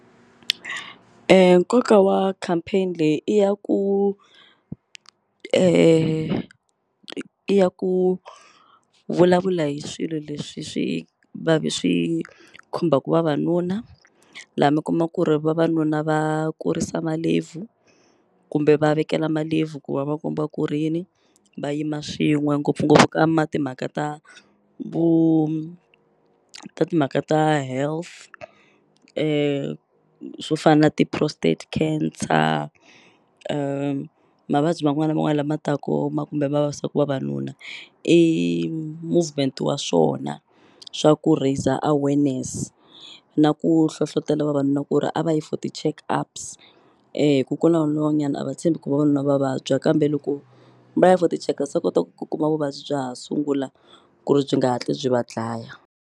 Nkoka wa campaign leyi i ya ku i ya ku vulavula hi swilo leswi swi va swi khumbaku vavanuna la mi kuma ku ri vavanuna va kurisa malebvu kumbe va vekela malebvu ku va va komba ku ri yini va yima swin'we ngopfungopfu ka ma timhaka ta vu ta timhaka ta health swo fa na ti prostate cancer mavabyi man'wani na man'wani lama taku kumbe ma vavisaku vavanuna i movement wa swona swa ku raiser awareness na ku hlohlotela vavanuna ku ri a va yi for ti-check ups hi ku ku na vanuna van'wanyani a va tshembi ku vavanuna va vabya kambe loko va ya for ti-check ups va kota ku kuma vuvabyi bya ha sungula ku ri byi nga hatli byi va dlaya.